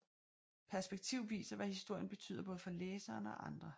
Perspektiv viser hvad historien betyder både for læseren og andre